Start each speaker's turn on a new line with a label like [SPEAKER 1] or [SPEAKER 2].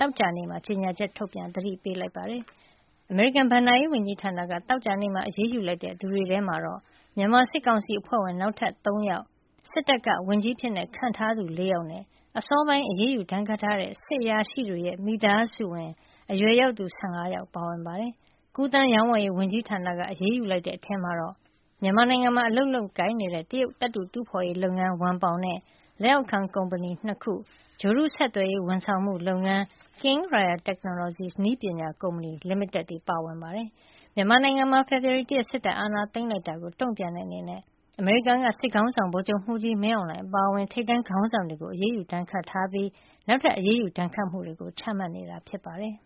[SPEAKER 1] သောကြာနေ့မှာ ကြေညာချက် ထုတ်ပြန် သတိပေးလိုက်ပါတယ်။ အမေရိကန် ဘဏ္ဍာရေးဝန်ကြီးဌာနက သောကြာနေ့မှာ အရေးယူလိုက်တဲ့ သူတွေထဲမှာတော့ မြန်မာစစ်ကောင်စီအဖွဲ့ဝင် နောက်ထပ် ၃ ယောက်၊ စစ်တပ်က ဝန်ကြီးအဖြစ် ခန့်အပ်ထားသူ ၄ ယောက်နဲ့ အစောပိုင်း အရေးယူဒဏ်ခတ်ထားတဲ့ စစ်အရာရှိတွေရဲ့ မိသားစုဝင် အရွယ်ယောက်သူ ၁၅ ယောက် ပါဝင်ပါတယ်။ ကူးသန်းရောင်းဝယ်ရေး ဝန်ကြီးဌာနက အရေးယူလိုက်တဲ့ အထဲမှာတော့ မြန်မာနိုင်ငံမှာ အလုပ်လုပ်ကိုင်နေတဲ့ တရုတ်သတ္ထုတူးဖော်ရေးလုပ်ငန်း ဝမ်ပေါင်နဲ့ လက်အောက်ခံ ကုမ္ပဏီ ၂ ခု၊ ဂြိုဟ်တု ဆက်သွယ်ရေး ဝန်ဆောင်မှုလုပ်ငန်း King Royal Technologies နည်းပညာ ကုမ္ပဏီ လိမိတက်တို့ ပါဝင်ပါတယ်။ မြန်မာနိုင်ငံမှာ ဖေဖော်ဝါရီလ ၁ ရက်နေ့ စစ်တပ်ကအာဏာသိမ်းလိုက်တာကို တုံ့ပြန်တဲ့အနေနဲ့ အမေရိကန်က စစ်ခေါင်းဆောင် ဗိုလ်ချုပ်မှူးကြီး မင်းအောင်လှိုင် အပါအဝင် ထိပ်တန်းခေါင်းဆောင်တွေကို ဒဏ်ခတ်အရေးယူထားပြီး၊ နောက်ထပ် အရေးယူဒဏ်ခတ်မှုတွေကို ချမှတ်နေတာ ဖြစ်ပါတယ်။